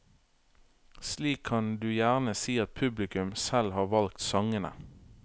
Slik kan du gjerne si at publikum selv har valgt sangene.